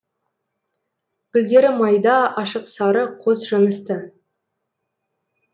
гүлдері майда ашық сары қос жынысты